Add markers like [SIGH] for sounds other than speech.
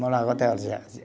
Morava [UNINTELLIGIBLE]